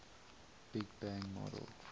big bang model